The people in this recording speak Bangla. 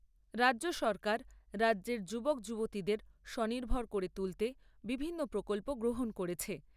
রাজ্য সরকার রাজ্যের যুবক যুবতীদের স্বনির্ভর করে তুলতে বিভিন্ন প্রকল্প গ্রহণ করেছে।